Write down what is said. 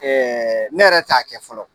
ne yɛrɛ t'a kɛ fɔlɔ.